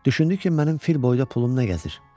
Düşündü ki, mənim fil boyda pulum nə gəzir?